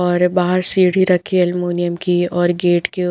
और बाहर सीढ़ी रखी एलुमिनियम की और गेट के --